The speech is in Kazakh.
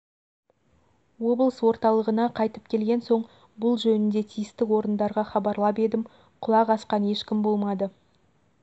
облыс орталығына қайтып келген соң бұл жөнінде тиісті орындарға хабарлап едім құлақ асқан ешкім болмады